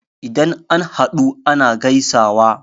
Idan an haɗu ana gaisawa.